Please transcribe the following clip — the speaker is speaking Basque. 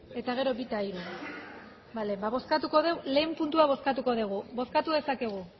eta gero bi eta hiru lehen puntua bozkatuko dugu bozkatu dezakegu